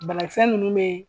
Banakisɛ ninnu bee